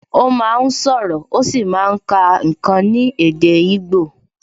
Ó máa ń sọ̀rọ̀, ó sì máa ń kà ǹkan ní èdè igbo